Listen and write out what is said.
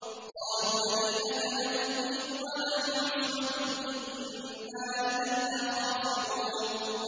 قَالُوا لَئِنْ أَكَلَهُ الذِّئْبُ وَنَحْنُ عُصْبَةٌ إِنَّا إِذًا لَّخَاسِرُونَ